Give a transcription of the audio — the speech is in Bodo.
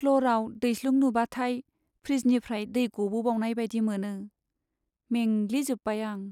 प्ल'रआव दैस्लुं नुबाथाय फ्रिजनिफ्राय दै गबोबावनाय बायदि मोनो। मेंग्लि जोब्बाय आं।